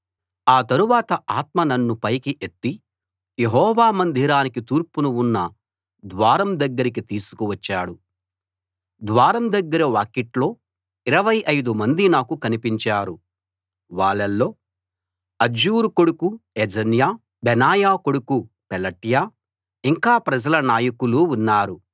ఆ తరువాత ఆత్మ నన్ను పైకి ఎత్తి యెహోవా మందిరానికి తూర్పున ఉన్న ద్వారం దగ్గరికి తీసుకు వచ్చాడు ద్వారం దగ్గర వాకిట్లో ఇరవై ఐదు మంది నాకు కనిపించారు వాళ్ళలో అజ్జూరు కొడుకు యజన్యా బెనాయా కొడుకు పెలట్యా ఇంకా ప్రజల నాయకులూ ఉన్నారు